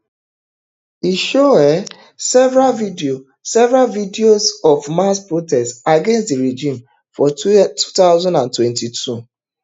e show um several videos several videos of mass protests against di regime for two thousand and twenty-two